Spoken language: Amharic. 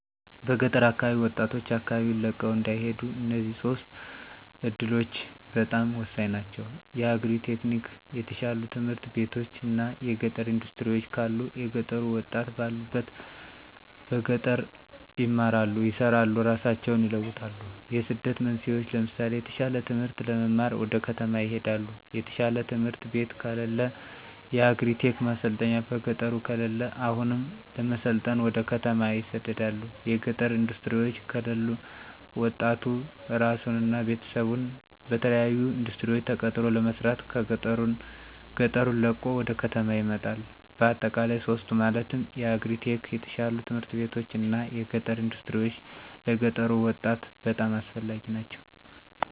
በገጠር አካባቢ ወጣቶች አካባቢወን ለቀው እንዳይሄዱ እነዚህ ሶስቱ እዱሎች በጣም ሆሳኝ ናቸው። የአግሪ-ቴክኒክ፣ የተሻሉ ትምህርት ቤቶች እና የገጠር እንዳስትሪወች ካሉ የገጠሩ ወጣት ባሉበት በገጠር ይማራሉ፣ ይሰራሉ እራሳቸውን ይለውጣሉ። የስደት መንስኤወች ለምሳሌ የተሻለ ትምህርት ለመማር ወደ ከተማ ይሄዳሉ። የተሻለ ትምህርት ቤት ከለለ። የአግሪ-ቴክ ማሰልጠኛ በገጠሩ ከለለ አሁንም ለመሰልጠን ወደ ከተማ ይሰደዳሉ። የገጠር እንዳስትሪወች ከለሉ ወጣቱ እራሱን እና ቤተሰቡን በተለያሉ እንዳስትሪወች ተቀጥሮ ለመስራት ገጠሩን ለቆ ወደ ከተማ ይመጣል። በአጠቃላይ ሶስቱ ማለትም የአግሪ-ቴክ፣ የተሻሉ ት/ቤቶች እና የገጠር እንዳስትሪወች ለገጠሩ ወጣት በጣም አስፈላጊ ናቸው።